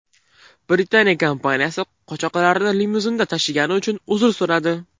Britaniya kompaniyasi qochoqlarni limuzinda tashigani uchun uzr so‘radi.